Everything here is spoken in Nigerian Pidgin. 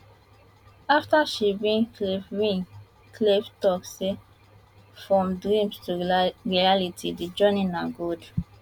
afta she win khelif win khelif tok say from dreams to reality di journey na gold